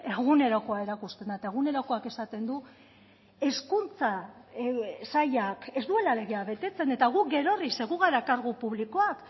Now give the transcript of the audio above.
egunerokoa erakusten da eta egunerokoak esaten du hezkuntza sailak ez duela legea betetzen eta guk gerorri ze gu gara kargu publikoak